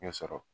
N y'o sɔrɔ